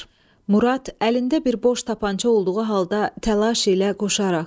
Murad əlində bir boş tapança olduğu halda təlaş ilə qoşaraq.